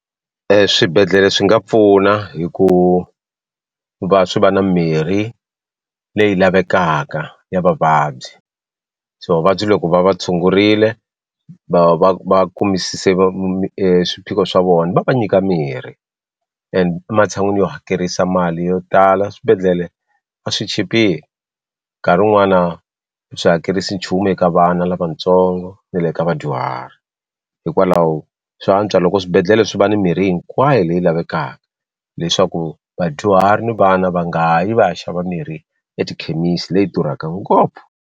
Eswibedhlele swi nga pfuna hi ku va swi va na mirhi leyi lavekaka ya vavabyi so vavabyi loko va va tshungurile va va va kumisisa swiphiqo swa vona va va nyika mirhi and ematshan'wini yo hakerisa mali yo tala swibedhlele va swi chipile nkarhi wun'wana swi hakerisi nchumu eka vana lavatsongo ni le ka vadyuhari hikwalaho swa antswa loko swibedhlele swi va ni mirhi hinkwayo leyi lavekaka leswaku vadyuhari na vana va nga yi va ya xava mirhi etikhemisi leyi durhaka ngopfu.